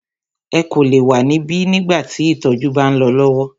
Ẹ kò lè wa níbí nígbà tí ìtọjú bá ń lọ lọwọ!